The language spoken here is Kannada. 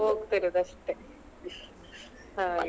ಹೋಗ್ತಾ ಇರುದು ಅಷ್ಟೆ ಹಾಗೆ.